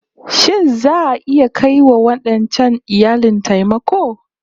Shin za'a iya kai wa wadancan iyalin taimako?